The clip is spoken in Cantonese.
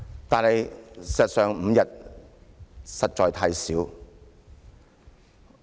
但事實上 ，5 天實在太少。